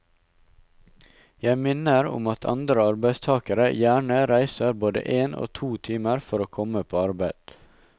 Jeg minner om at andre arbeidstagere gjerne reiser både en og to timer for å komme på arbeid.